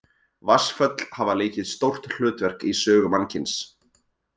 Vatnsföll hafa leikið stórt hlutverk í sögu mannkyns.